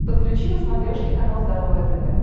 подключи на смотрешке канал здоровое тв